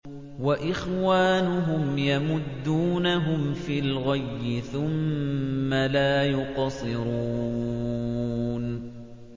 وَإِخْوَانُهُمْ يَمُدُّونَهُمْ فِي الْغَيِّ ثُمَّ لَا يُقْصِرُونَ